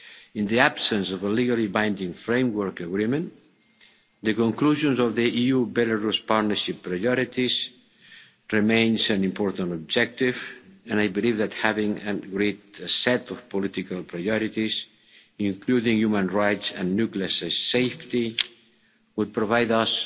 In the absence of a legally binding framework agreement, the conclusions of the EU Belarus Partnership Priorities remains an important objective, and I believe that having an agreed set of political priorities, including on human rights and nuclear safety, would provide